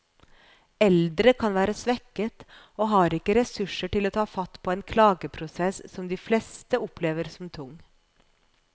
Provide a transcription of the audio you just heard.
Eldre kan være svekket og har ikke ressurser til å ta fatt på en en klageprosess som de fleste opplever som tung.